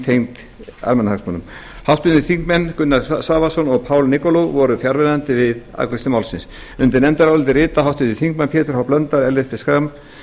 tengd almannahagsmunum háttvirtir þingmenn gunnar svavarsson og paul nikolov voru fjarverandi við afgreiðslu málsins undir nefndaráliti rita háttvirtir þingmenn pétur h blöndal ellert b schram